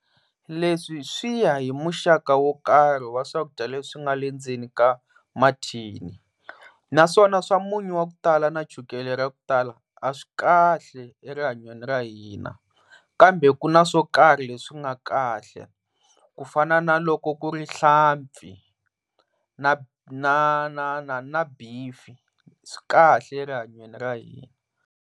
Leswi swi ya hi muxaka wo karhi wa swakudya leswi nga le ndzeni ka mathini, naswona swa munyu wa ku tala na chukele ra ku tala a swi kahle erihanyweni ra hina kambe ku na swo karhi leswi nga kahle ku fana na loko ku ri hlampfi na na na na beef swi kahle rihanyweni ra hina.